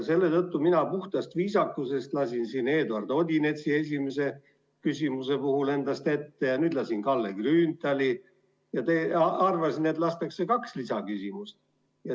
Selle tõttu mina puhtast viisakusest lasin Eduard Odinetsi esimese küsimuse puhul endast ette ja nüüd lasin ette Kalle Grünthali ja arvasin, et lastakse kaks lisaküsimust küsida.